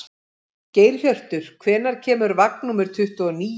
Geirhjörtur, hvenær kemur vagn númer tuttugu og níu?